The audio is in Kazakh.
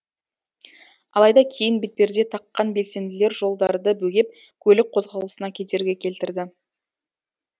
алайда кейін бетперде таққан белсенділер жолдарды бөгеп көлік қозғалысына кедергі келтірді